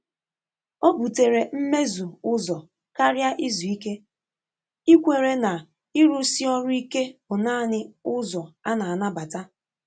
Ọ́ bùtèrè mmézù ụ́zọ kàrị́à ízu íké, íkwèré nà ị́rụ́sí ọrụ́ íké bụ́ nāànị́ ụ́zọ á nà-ànàbàtà.